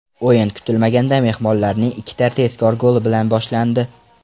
O‘yin kutilmaganda mehmonlarning ikkita tezkor goli bilan boshlandi.